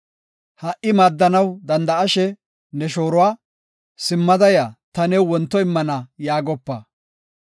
Ha77i maaddanaw danda7ashe ne shooruwa, “Simmada ya; ta new wonto immana” yaagopa.